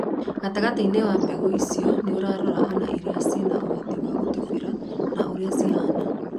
Gatagatiini wa mbegu icio, niũrarora ona iri cire na uhoti wa gũtubira na uria cihana.